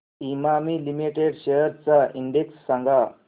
Emami limited shares चा index सांगा